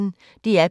DR P1